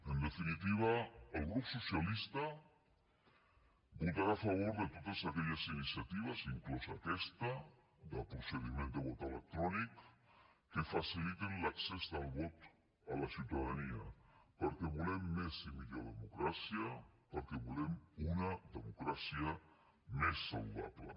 en definitiva el grup socialista votarà a favor de totes aquelles iniciatives inclosa aquesta de procediment de vot electrònic que facilitin l’accés del vot a la ciutadania perquè volem més i millor democràcia perquè volem una democràcia més saludable